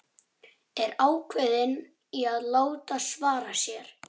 Er ákveðin í að láta svara sér.